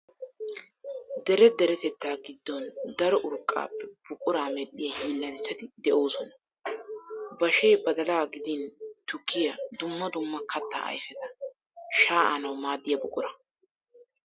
Dere deretettaa giddon daro urqqaappe buquraa medhdhiyaa hiilanchchati de'oosona. Bashee badala gidin tukkiya dumma dumma katta ayfeta shaa'anawu maaddiya buquraa.